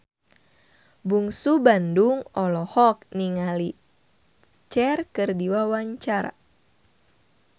Bungsu Bandung olohok ningali Cher keur diwawancara